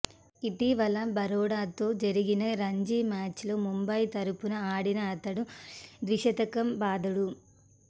ఇటీవల బరోడాతో జరిగిన రంజీ మ్యాచ్లో ముంబయి తరఫున ఆడిన అతడు ద్విశతకం బాదాడు